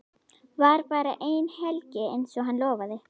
Var bara eina helgi einsog hann lofaði.